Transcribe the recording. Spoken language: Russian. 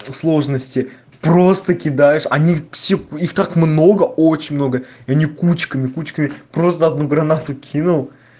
сложности просто кидаешь они все их так много очень много и они кучками кучками просто одну гранату кинул